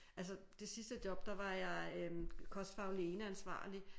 Altså det sidste job der var jeg øh kostfaglig ene ansvarlig